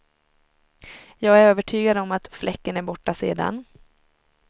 Jag är övertygad om att fläcken är borta sedan.